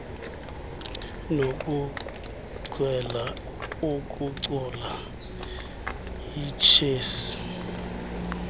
nokuchwela ukucula ichess